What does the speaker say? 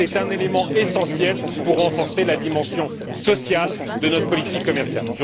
c'est un élément essentiel pour renforcer la dimension sociale de notre politique commerciale.